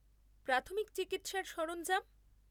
প্রাথমিক চিকিৎসার সরঞ্জাম?